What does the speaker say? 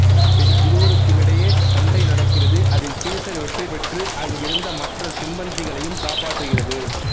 பின் இருவருக்குமிடையே சண்டைநடக்கிறது அதில் சீஸர் வெற்றி பெற்று அங்கிருந்த மற்ற சிம்பன்சிகளையும் காப்பாற்றுகிறது